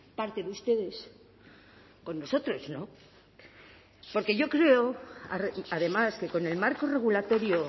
parte de ustedes con nosotros no porque yo creo además que con el marco regulatorio